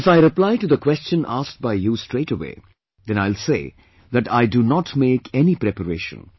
If I reply to the question asked by you straightaway then I will say that I do not make any preparation